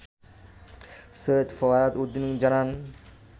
সৈয়দ ফরহাদ উদ্দিন জানান